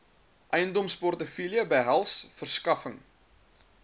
eiendomsportefeulje behels verskaffing